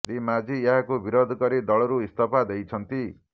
ଶ୍ରୀ ମାଝୀ ଏହାକୁ ବିରୋଧ କରି ଦଳରୁ ଇସ୍ତଫା ଦେଇଛନ୍ତି